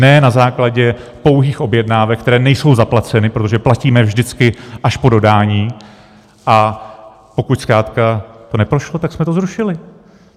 Ne na základě pouhých objednávek, které nejsou zaplaceny, protože platíme vždycky až po dodání, a pokud zkrátka to neprošlo, tak jsme to zrušili.